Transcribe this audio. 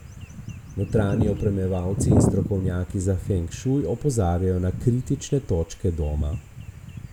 Notranji opremljevalci in strokovnjaki za feng šuj opozarjajo na kritične točke doma.